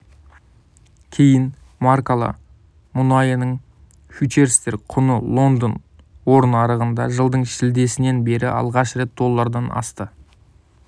кейін маркалы мұнайының фьючерстер құны лондон ор нарығында жылдың шілдесінен бері алғаш рет доллардан асты